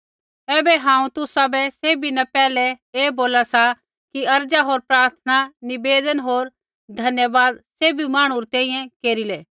ऐबै हांऊँ तुसाबै सैभी न पैहलै ऐ बोला सा कि अर्ज़ा होर प्रार्थना निवेदन होर धन्यवाद सैभी मांहणु री तैंईंयैं केरिलै